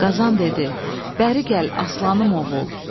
Qazan dedi: Bəri gəl aslanım oğul.